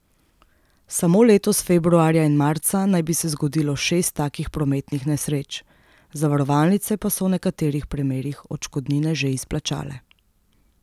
Samo letos februarja in marca naj bi se zgodilo šest takih prometnih nesreč, zavarovalnice pa so v nekaterih primerih odškodnine že izplačale.